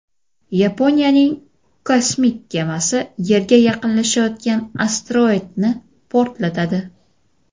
Yaponiyaning kosmik kemasi yerga yaqinlashayotgan asteroidni portlatadi.